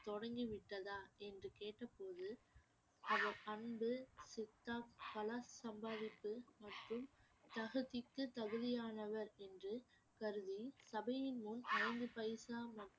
தொடங்கி விட்டதா என்று கேட்டபோது அவர் அன்பு சித்தா சம்பாதிப்பு மற்றும் தகுதிக்கு தகுதியானவர் என்று கருதி சபையின் முன் ஐந்து பைசா மற்றும்